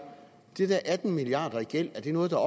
de der atten milliarder i gæld er det noget der